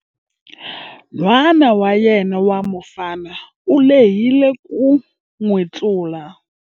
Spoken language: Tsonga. N'wana wa yena wa mufana u lehile ku n'wi tlula.